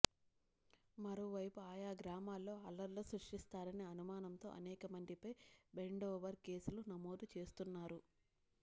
మరోవైపు ఆయా గ్రామాల్లో అల్లర్లు సృష్టిస్తారనే అనుమానంతో అనేక మందిపై బైండోవర్ కేసులు నమోదు చేస్తున్నారు